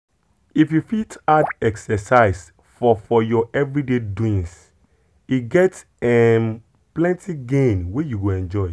if you fit add exercise for for your everyday doings e get um plenty gain wey you go enjoy.